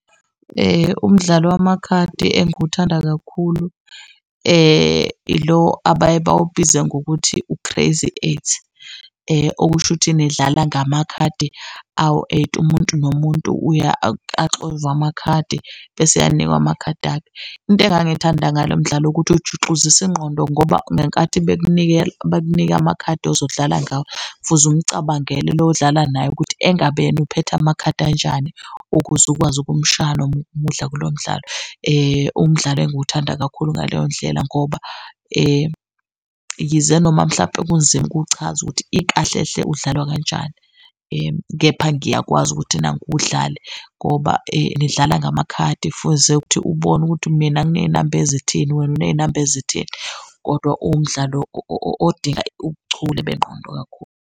Umdlalo wamakhadi engiwuthanda kakhulu ilo abaye bawubize ngokuthi u-Crazy Eight. Okusho ukuthi nidlala ngamakhadi awu-eight, umuntu nomuntu axove amakhadi bese anikwa amakhadi akhe. Into engangiyithanda ngalo mdlalo ukuthi ujuxuzisa ingqondo ngoba ngenkathi bekunika amakhadi ozodlala ngawo, fuze umcabangele lo odlala naye ukuthi engabe yena uphethe amakhadi anjani ukuze ukwazi ukumshaya nokumudla kulo mdlalo. Umdlalo enguwuthanda kakhulu ngaleyo ndlela ngoba yize noma mhlampe kunzima ukuchaza ukuthi ikahle-hle udlalwa kanjani, kepha ngiyakwazi ukuthi nanku wudlale ngoba nidlala ngamakhadi fuze ukuthi ubone ukuthi mina nginey'namba ezithini, wena uney'namba ezithini, kodwa uwumdlalo odinga ubuchule benqondo kakhulu.